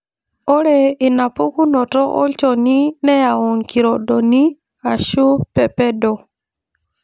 Ore inapukunoto olchoni neyau kirondoni ashu pepedo.